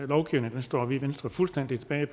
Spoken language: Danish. lovgivning står vi i venstre fuldstændig bag